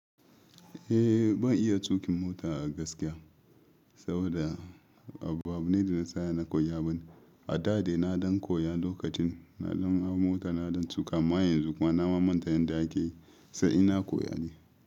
Eh, ban iya tuƙin mota a gaskiya saboda abubuwan da na tsaya na koya bane. A da dai na don koya lokacin na don hau mota, na don tuƙa. Amma yanzu kuma na manta yadda ake, sai ina koya ne.